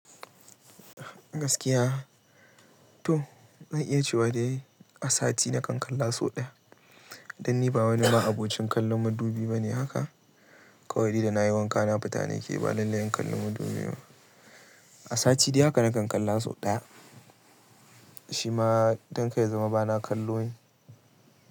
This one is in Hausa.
Gaskiya, to zan iya cewa dai, a sati nakan kalla so ɗaya. Dan ni ba wani ma abocin kallon madubi bane haka. Kawai ni da na yi wanka na fita ne ke ba lallai in kalli madubi. A sati dai haka na kan kalla so ɗaya. Shi ma don kai ya zama ba na kallo ne.